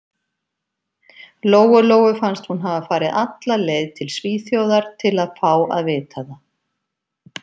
Lóu-Lóu fannst hún hafa farið alla leið til Svíþjóðar til að fá að vita það.